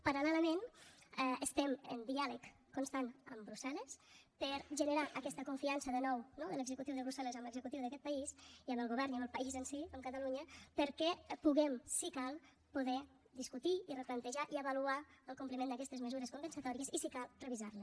paral·lelament estem en diàleg constant amb brussel·les per a generar aquesta confiança de nou no de l’executiu de brussel·les en l’executiu d’aquest país i en el govern i en el país en si en catalunya perquè puguem si cal discutir i replantejar i avaluar el compliment d’aquestes mesures compensatòries i si cal revisar les